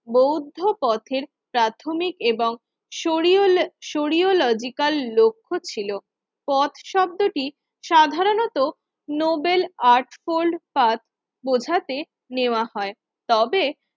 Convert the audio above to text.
বৌদ্ধ পথের প্রাথমিক এবং শরীরও শরীরওলজিকাল লক্ষ্য ছিল পথ শব্দটি সাধারণত নোবেল আর্টফোল্ড পাথ বোঝাতে নেওয়া হয়। তবে